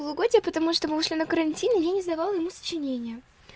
полугодие потому что мы ушли на карантин и я не сдавала ему сочинение